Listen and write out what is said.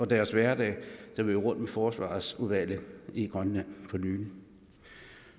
deres hverdag da vi var rundt med forsvarsudvalget i grønland for nylig